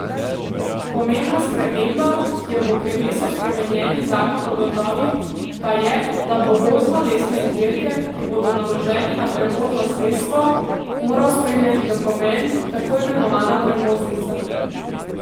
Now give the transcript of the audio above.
Pomembna sprememba, ki jo bo prinesel spremenjeni zakon o gozdovih, pa je, da bo gozdnolesne izdelke, ki bodo naloženi na prevozno sredstvo, moral spremljati dokument, tako imenovana prevoznica.